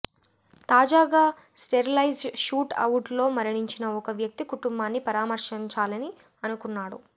తాజాగా sterilize shoot అవుట్లో మరణించిన ఒక వ్యక్తి కుటుంబాన్ని పరామర్శించాలని అనుకున్నాడు